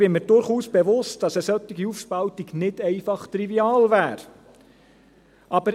Ich bin mir durchaus bewusst, dass eine solche Aufspaltung nicht einfach trivial wäre.